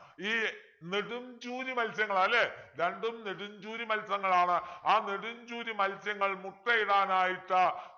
ഈ നെടും ചൂരി മൽസ്യങ്ങളാ അല്ലെ രണ്ടും നെടും ചൂരി മൽസ്യങ്ങളാണ് ആ നെടും ചൂരി മൽസ്യങ്ങൾ മുട്ടയിടാനായിട്ട്